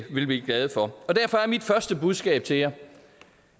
vil blive glade for derfor er mit første budskab til jer